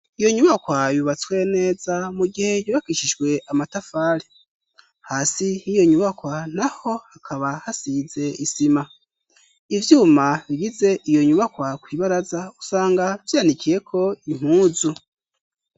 Iyo nyubakwa yubatswe neza mu gihe yubakishijwe amatafari. Hasi h'iyo nyubakwa naho hakaba hasize isima; ivyuma bigize iyo nyubakwa kw'ibaraza usanga vyanikiyeko impuzu.